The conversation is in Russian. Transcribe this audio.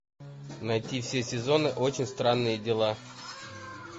найти все сезоны очень странные дела